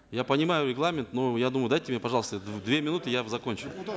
я понимаю регламент но я думаю дайте мне пожалуйста две минуты я закончу